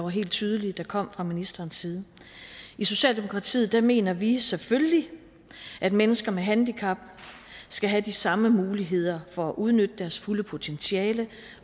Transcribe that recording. helt tydeligt kom fra ministerens side i socialdemokratiet mener vi selvfølgelig at mennesker med handicap skal have de samme muligheder for at udnytte deres fulde potentiale